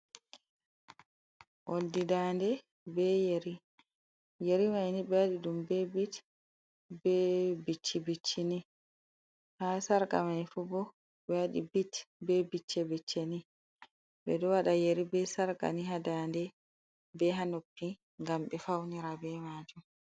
Oldibdande be yeri yeri man ɓe waɗi ɗum be bit be bicci bicci biccini ha sarga maifubo ɓe waɗi bit be bicce bicci ɓe ɗo waɗa yeri be sarga ni ha dande, be hanoppi, gam be faunira be majum.